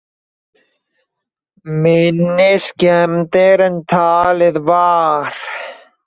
Minni skemmdir en talið var